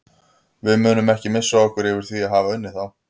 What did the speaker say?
Við munum ekki missa okkur yfir því að hafa unnið þá.